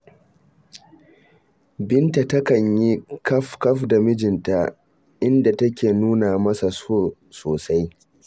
Binta takan yi kafkaf da mijinta, inda take nuna masa so sosai.